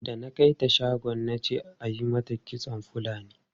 Da na kai ta shagon na ce ayi mata kitson Fulani.